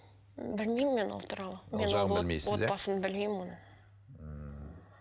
м білмеймін мен ол туралы отбасын білмеймін оның ммм